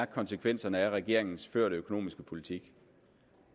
konsekvenserne af regeringens førte økonomiske politik